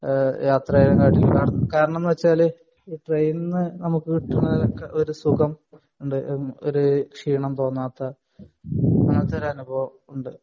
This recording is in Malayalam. ആഹ് യാത്രയായിട്ടുള്ള കാരണം എന്ന് വെച്ചാൽ ട്രൈനിന്ന് നമുക്ക് കിട്ടുന്ന ഒരു സുഖം ഉണ്ട് ഒരു ക്ഷീണം തോന്നാത്ത അങ്ങിനത്തെ ഒരു അനുഭവം ഉണ്ട്